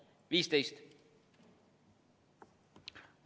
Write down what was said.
15!